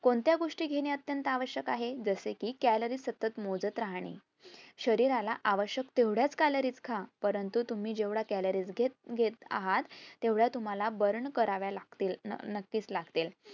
कोणत्या गोष्टी घेणे अतंत्य आवश्यक आहे. जसे की calories सतत मोजत राहणे, शरीराला आवश्यक तेवढेच calories खा, परंतु तुम्ही जेवढे calories घेत घेत आहेत तेवढे तुम्हाला burn करावे लागतील नक्कीच लागतील